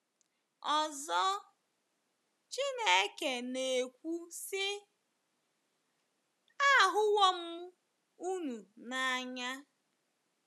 Ọzọ, Chineke na-ekwu si, Ahụwo m unu n’anya.